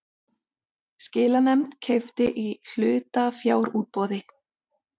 Skilanefnd keypti í hlutafjárútboði